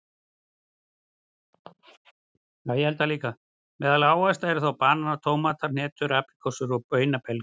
Meðal ávaxta eru þá bananar, tómatar, hnetur, apríkósur og baunabelgir.